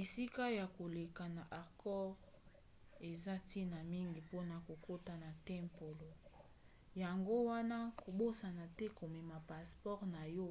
esika ya koleka na angkor eza ntina mingi mpona kokota na tempelo yango wana kobosana te komema passeport na yo